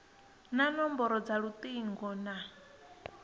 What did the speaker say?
na nomboro dza lutingo na